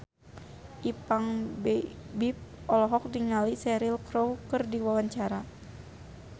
Ipank BIP olohok ningali Cheryl Crow keur diwawancara